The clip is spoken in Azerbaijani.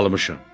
Almışam.